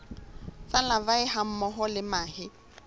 tsa larvae hammoho le mahe